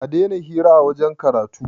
a Daina hira a wajen karatu!